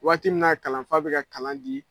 Waati min na kalanfa bɛ ka kalan di.